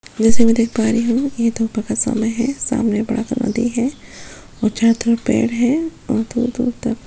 जैसा की मैं देख पा रही हूँ ये दो प्रकाशालाय है सामने बड़ा सा नदी है और चारो तरफ पेड़ है और दूर - दूर तक --